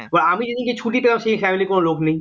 এবার আমি যে দিনকে ছুটি পেলাম সেদিন family ইর কোন লোক নেই